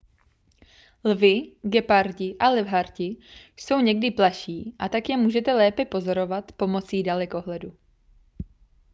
lvi gepardi a levharti jsou někdy plaší a tak je můžete lépe pozorovat pomocí dalekohledu